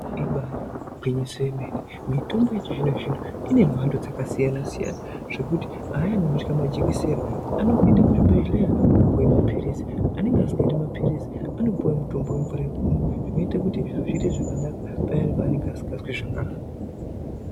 Ibari gwinyiso yemene, mitombo yechizvino zvino inemhando dzakasiyana siyana zvekuti ayani anotya majekiseni anongoenda kuzvibhedhlera opuwe maphirizi, anenge asingadi maphirizi anopuwe mutombo wemvura yekumwa zvinoite kuti zviro zviite zvakanaka payani paanenge asingazwi zvakanaka.